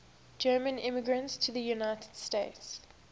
german immigrants to the united states